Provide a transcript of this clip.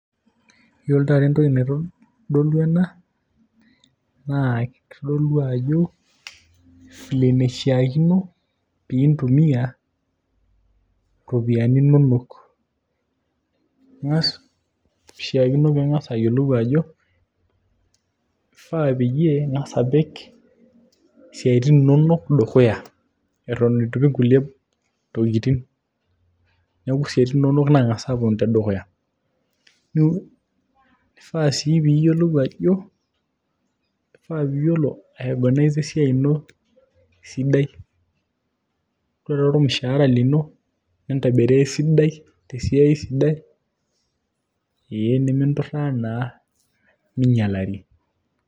yiolo taata entoki naitodolu ena, naa kitodolu ajo file enishiakino piintumia iropiyiani inonok ing'as, kishiakino piing'as ayiolou ajo kifaa peyie ing'as apik isiaitin inonok dukuya eton etu ipik nkulie tokitin neeku isiatin inonok nang'as aponu tedukuya nifaa piyiolou ajo, kifaa piyiolo ae oganaiza esiai ino esidai ore taa ormushaara lino nintabiraa esidai tesiai sidai eeh niminturraa naa minyialari.